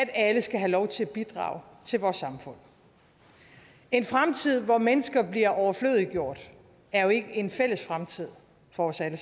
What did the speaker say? at alle skal have lov til at bidrage til vores samfund en fremtid hvor mennesker bliver overflødiggjort er jo ikke en fælles fremtid for os alle